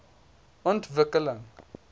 ontwikkeling